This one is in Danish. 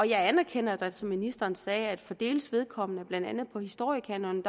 jeg anerkender da som ministeren sagde at for deles vedkommende blandt andet af historiekanonen